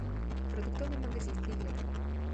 продуктовый магазин билет